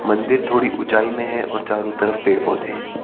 मंदिर थोड़ी ऊंचाई में है और चारों तरफ पेड़ पौधे हैं।